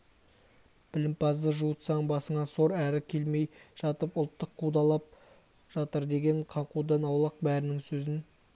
білімпазды жуытсаң басыңа сор әрі келмей жатып ұлттық қудалап жатыр деген қаңқудан аулақ бәрінің сөзін